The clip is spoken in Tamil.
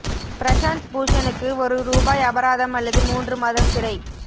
பிரசாந்த் பூஷனுக்கு ஒரு ரூபாய் அபராதம் அல்லது மூன்று மாதம் சிறை